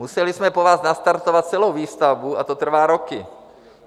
Museli jsme po vás nastartovat celou výstavbu a to trvá roky.